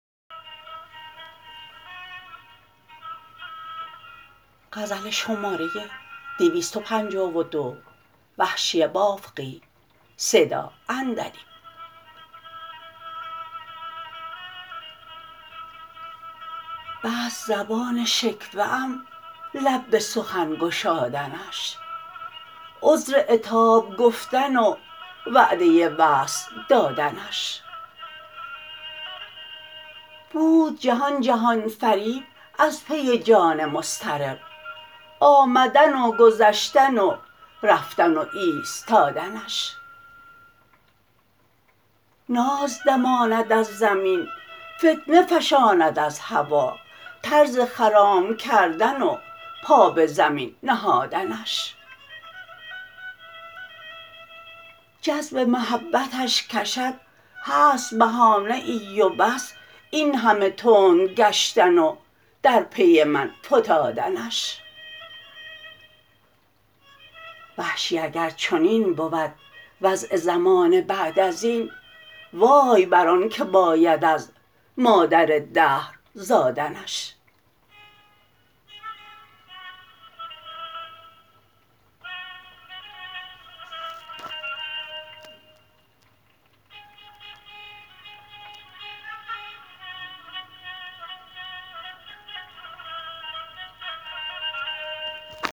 بست زبان شکوه ام لب به سخن گشادنش عذر عتاب گفتن و وعده وصل دادنش بود جهان جهان فریب از پی جان مضطرب آمدن و گذشتن و رفتن و ایستادنش ناز دماند از زمین فتنه فشاند از هوا طرز خرام کردن و پا به زمین نهادنش جذب محبتش کشد هست بهانه ای و بس این همه تند گشتن و در پی من فتادنش وحشی اگر چنین بود وضع زمانه بعد ازین وای بر آن که باید از مادر دهر زادنش